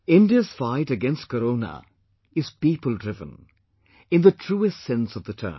India's fight against Corona is peopledriven, in the truest sense of the term